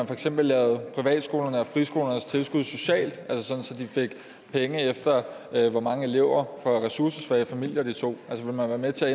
for eksempel lavede privatskolernes og friskolernes tilskud socialt altså sådan at de fik penge efter hvor mange elever fra ressourcesvage familier de tog vil man være med til